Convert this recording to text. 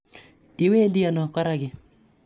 Iwendi ano koraki?